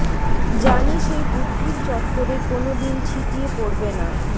জানি সেই বুদ্ধির চত্বরে কোনো দিন ছিটিয়ে পড়বে না